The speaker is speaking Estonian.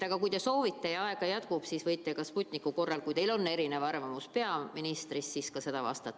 Kui te soovite ja aega jätkub, siis võite ka Sputniku kohta vastata, kui teie arvamus erineb peaministri omast.